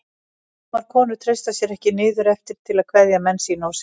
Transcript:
Sumar konur treystu sér ekki niður eftir til að kveðja menn sína og syni.